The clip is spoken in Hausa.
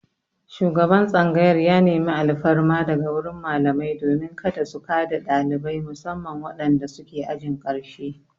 Shugaban tsangayar ya nemi alfarma daga wurin malamai domin kada su ka da ɗalibai musamman wadanda suke ajin ƙarshe.